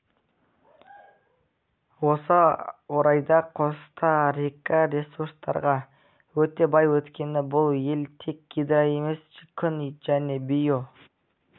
осы орайда коста-рика ресурстарға өте бай өйткені бұл ел тек гидро емес күн жел био